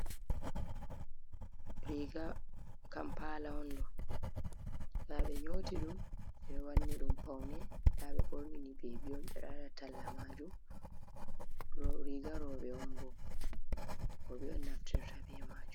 Riga kampala on ɗo. Nɗa ɓe nyoti ɗum ɓe ɗo wanni ɗum paune nɗa ɓe ɓorni ni bebi on ɓe ɗo waɗa talla majum riga rowɓe on bo rowɓe naftirta be majum.